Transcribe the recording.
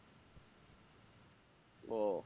ও